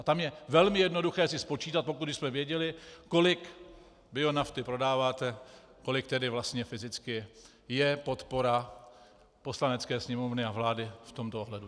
A tam je velmi jednoduché si spočítat, pokud bychom věděli, kolik bionafty prodáváte, kolik tedy vlastně fyzicky je podpora Poslanecké sněmovny a vlády v tomto ohledu.